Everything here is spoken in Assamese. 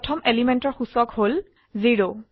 প্ৰথম এলিমেন্টৰ সূচক হল 0